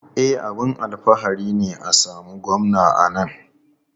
E, abin alfahari ne a samu Gwamna a nan.